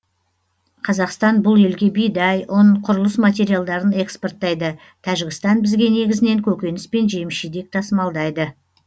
қазақстан бұл елге бидай ұн құрылыс материалдарын экспортайды тәжікстан бізге негізінен көкөніс пен жеміс жидек тасымалдайды